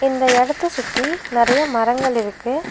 இந்த இடத்த சுத்தி நெறையா மரங்கள் இருக்கு.